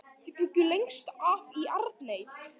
Þau bjuggu lengst af í Arney.